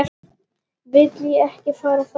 Vil ekki fara á fætur.